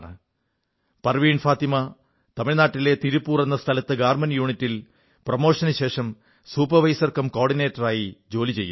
പർവീൺ ഫാത്തിമ തമിഴ് നാട്ടിലെ തിരുപ്പൂർ എന്ന സ്ഥലത്ത് ഗാർമെന്റ് യൂണിറ്റിൽ പ്രമോഷനു ശേഷം സൂപ്പർവൈസർ കം കോ ഓർഡിനേറ്ററായിരിക്കുന്നു